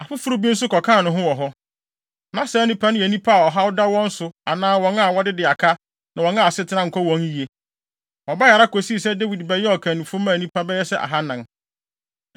Afoforo bi nso kɔkaa ne ho wɔ hɔ. Na saa nnipa no yɛ nnipa a ɔhaw da wɔn so anaa wɔn a wɔdede aka ne wɔn a asetena nkɔ wɔn yiye. Wɔbae ara kosii sɛ Dawid bɛyɛɛ ɔkannifo maa nnipa bɛyɛ sɛ ahannan.